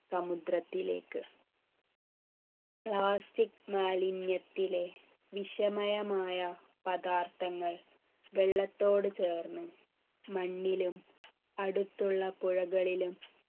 സമുദ്രത്തിലേക്ക് plastic മാലിന്യത്തിലെ വിഷമയമായ പദാർത്ഥങ്ങൾ വെള്ളത്തോട് ചേർന്ന് മണ്ണിലും അടുത്തുള്ള പുഴകളിലും